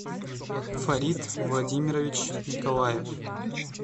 фарид владимирович николаев